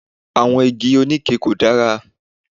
Àwọn Igi oníke kò dára.